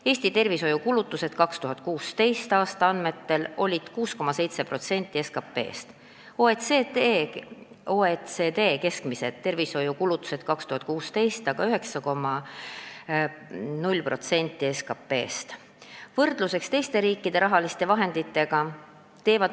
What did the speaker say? Eesti tervishoiukulutused olid 2016. aasta andmetel 6,7% SKP-st, OECD keskmised tervishoiukulutused 2016. aastal olid aga 9,0% SKP-st.